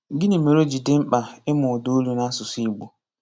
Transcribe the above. Gịnị́ mére ọ́ jì dị́ mkpà ìmụ́ ụ̀dàolù n’ásụ̀sụ́ Ìgbò?